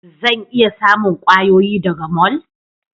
Zan iya samun kwayoyi daga mall?